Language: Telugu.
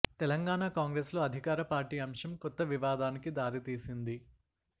తెలంగాణ కాంగ్రెస్ లో అధికార పార్టీ అంశం కొత్త వివాదానికి దారి తీసింది